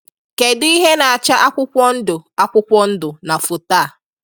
Kedụ ihe na-acha akwụkwọ ndụ akwụkwọ ndụ na foto a?